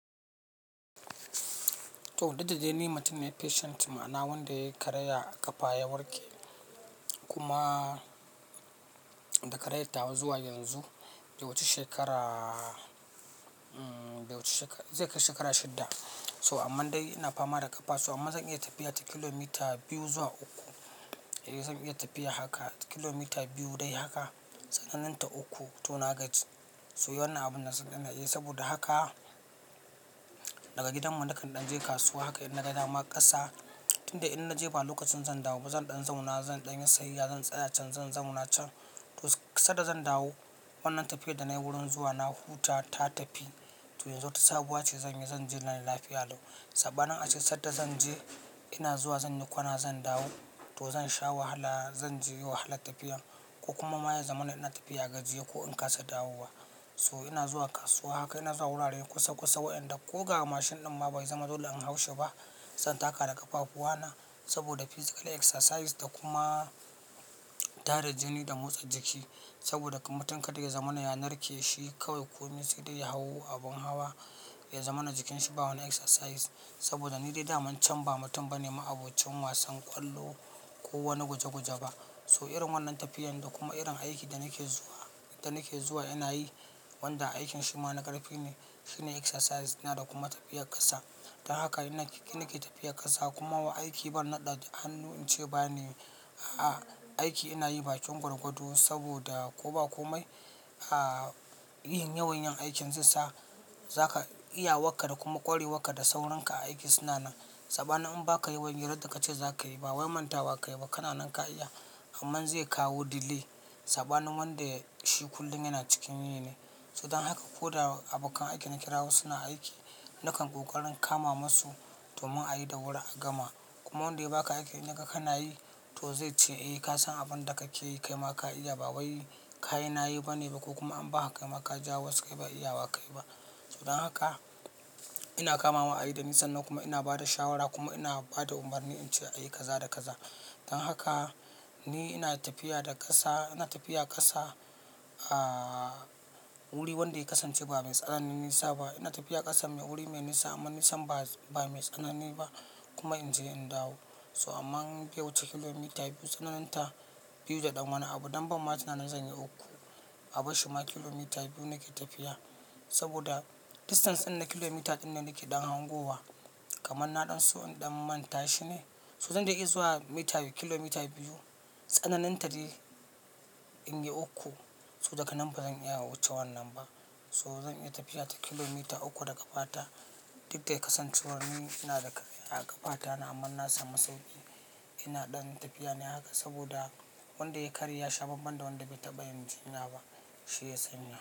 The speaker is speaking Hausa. To, duk da dai ni mutum ne patient, ma'ana wanda ya yi karaya a ƙafa ya warke kuma da karayar tawa zuwa yanzu. Be wuce shekara, be wuce shekara, zai kai shekara shidda. So amman dai ina fama da ƙafa. To amma zan iya tafiya ta kilomita biyu zuwa uku. Eh zan iya tafiya haka ta kilomita biyu dai haka tsananin ta uku to na gaji. To dai wannan abun ina iya yi saboda haka daga gidan mu na kan ɗanje kasuwa haka inna ga dama ƙasa tun da in na je ba lokacin zan dawo ba zan ɗan zauna, zan ɗan yi sayayya, zan tsaya can, zan zauna can. To sadda zan dawo wannan tafiyar da na yi wurin zuwa na huta ta tafi. To yanzu wata sabuwa ce zanyi zanji lafiya lau. Saɓanin ace sadda zan je ina zuwa zan yi kwana zan dawo. To zan sha wahala zan ji wahalar tafiyar ko kuma ma ya zama na ina tafiya gajiye ko in kasa dawowa. So ina zuwa kasuwa haka ina zuwa wuraren kusa kusa wa'inda ko ga mashin ɗin ma bai zama dole in hau shi ba. Zan taka da ƙafafuwana saboda physical exercise da kuma tara jini da motsa jiki. Saboda mutum kada ya zamana ya narke shi kawai ko mai sai dai ya hau abin hawa, ya zama na jikinsa ba wani exercise. Saboda ni dai daman can ba mutum bane ma abocin wasan ƙwallo ko wani guje guje ba. To irin wannan tafiyar da kuma irin aiki da nake zuwa, da nake zuwa ina yi wanda aikin shi ma na ƙarfi ne shine exercise ɗina da kuma tafiyar ƙasa. Ta hakan nake tafiyar ƙasa kuma aiki ban naɗe hannu ince bana yi aiki inayi bakin gwargwado saboda koba komai yin yawan yin aikin zesa zakaga iyawarka da saurinka a wurin aiki suna nan. Saɓanin in ba ka yawan yi radda ka ce za ka yi ba wai manta wa ka yi ba kana nan ka iya amman zai kawo delay saɓanin wanda shi kullum yana cikin yi ne. So dan haka ko da abokan aiki na kirawo suna aiki, na kan ƙoƙarin kama musu domin a yi da wuri a gama. Kuma wanda ya baka aikin in yaga kana yi to zai ce, "Eh ka san abin da kake yi kai ma ka iya ba wai kayin na yi bane ba ko kuma an ba ka kaima ka jawo wasu kai ba iya wa ka yi ba." to dan haka ina kamawa a yi da nisan nan kuma ina ba da shawara kuma ina ba da umarni in ce a yi kaza da kaza. Dan haka ni ina tafiya da ƙasa, ina tafiya ƙasa a wuri wanda ya kasance ba mai tsanani nisa ba. Ina tafiya ƙasa mai wuri mai nisa amma nisan ba, ba mai tsanani ba kuma in je in dawo. To amman biyu wuce kilomita biyu tsananin ta biyu da ɗan. Wani abu dan banma tunanin zan yi uku. A bar shi ma kilomita biyu nake tafiya saboda distance ɗin na kilomita ɗin da nake ɗan hangowa kamar na ɗan so ɗan manta shi ne. To zan dai iya zuwa mita kilomita biyu tsananin ta dai in yi uku. To daga nan ba zan iya wuce wannan ba. To zan iya tafiya ta kilomita uku da ƙafata duk da ya kasancewar ni ina da karaya a ƙafa ta amma na samu sauƙi ina ɗan tafiya ne haka saboda wanda ya yi karye yasha banban da wanda bai taɓa yin jinya ba, shi ya sanya.